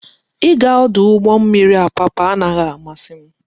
Ị ga ọdụ ụgbọ mmiri Apapa anaghị amasị m